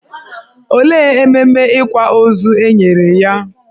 Olee ememe ịkwa ozu e nyere ya?